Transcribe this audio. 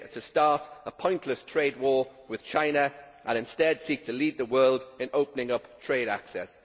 to start a pointless trade war with China and instead seek to lead the world in opening up trade access.